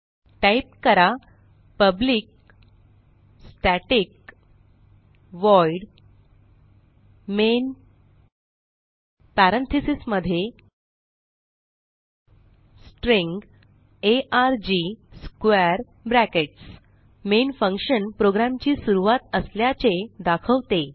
type करा public static void main parentheses मध्ये string arg square brackets main function प्रोग्रॅमची सुरूवात असल्याचे दाखवते